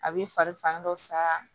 A bɛ fari fan dɔ sa